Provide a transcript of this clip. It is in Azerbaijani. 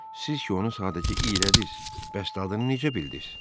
Siz ki onu sadəcə iylədiniz, bəs dadını necə bildiniz?”